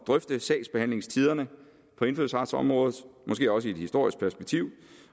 drøfte sagsbehandlingstiderne på indfødsretsområdet måske også i et historisk perspektiv